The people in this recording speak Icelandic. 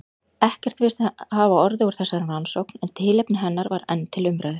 Ekkert virðist hafa orðið úr þessari rannsókn, en tilefni hennar var enn til umræðu.